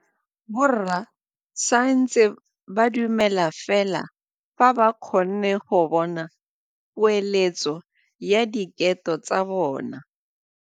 Borra saense ba dumela fela fa ba kgonne go bona poeletsô ya diteko tsa bone.